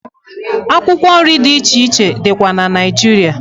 Akwụkwọ nri dị iche iche dịkwa na Naịjiria.